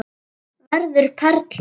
Verður perla.